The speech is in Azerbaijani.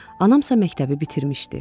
Anamsa məktəbi bitirmişdi.